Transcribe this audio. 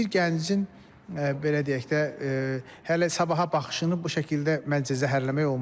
Bir gəncin belə deyək də, hələ sabaha baxışını bu şəkildə məncə zəhərləmək olmaz.